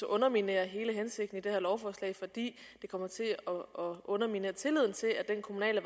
underminere hele hensigten i det her lovforslag fordi det kommer til at underminere tilliden til at den kommunale